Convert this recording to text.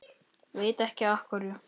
Veit ekki af hverju.